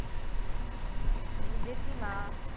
বুঝেছি মা।